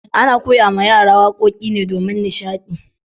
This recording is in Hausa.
Ana koyawa yara wakoki ne domin nishadi.